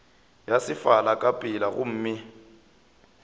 ya sefala ka pela gomme